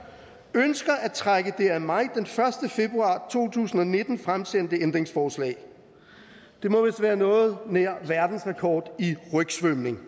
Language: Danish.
ønsker at trække det af mig den første februar to tusind og nitten fremsendte ændringsforslag det må vist være noget nær verdensrekord i rygsvømning